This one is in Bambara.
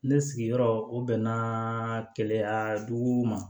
Ne sigiyɔrɔ o bɛn na kɛlɛ dugu ma